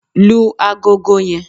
lú àgọ́gọ́ yen!